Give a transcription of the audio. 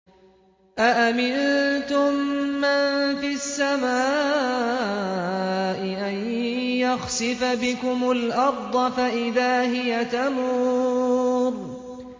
أَأَمِنتُم مَّن فِي السَّمَاءِ أَن يَخْسِفَ بِكُمُ الْأَرْضَ فَإِذَا هِيَ تَمُورُ